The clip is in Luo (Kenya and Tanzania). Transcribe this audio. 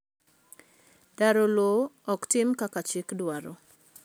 daro lowo ok tim kaka chik dwaro